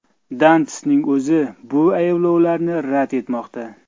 Dantistning o‘zi bu ayblovlarni rad etmoqda.